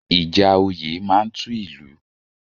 Ìjà òye má ń tú ìlú